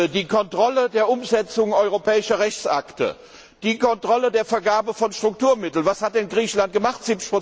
Die Kontrolle der Umsetzung europäischer Rechtsakte, die Kontrolle der Vergabe von Strukturmitteln was hat denn Griechenland gemacht?